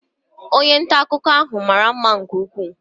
Onye nta akụkọ ahụ mara mma nke ukwuu.